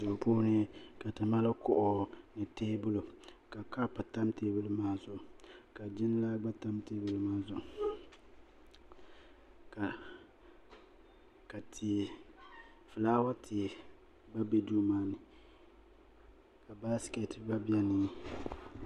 duu puuni ka ti mali kuɣu ni teebuli ka kaap tam teebuli maa zuɣu ka jiŋlaa gba tam teebuli maa zuɣu ka fulaawa tia gba bɛ duu maa ni ka baskɛt gba biɛni